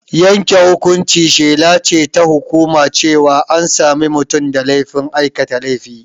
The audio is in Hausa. Yanke hukunci shela ce ta hukuma cewa an sami mutum da laifin aikata laifi.